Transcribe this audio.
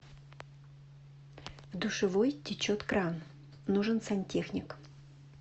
в душевой течет кран нужен сантехник